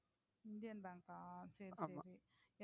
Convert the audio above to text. Indian பேங்கா சரி சரி